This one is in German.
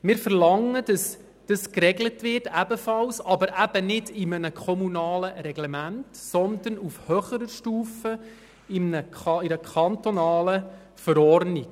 Wir verlangen ebenfalls, dass es festgelegt wird, aber eben nicht in einem kommunalen Reglement, sondern auf höherer Stufe, nämlich in einer kantonalen Verordnung.